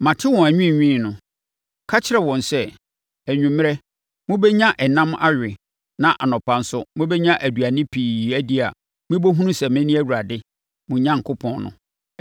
“Mate wɔn anwiinwii no, ka kyerɛ wɔn sɛ, ‘Anwummerɛ, mobɛnya ɛnam awe na anɔpa nso mobɛnya aduane pii adi na mobɛhunu sɛ mene Awurade, mo Onyankopɔn, no.’ ”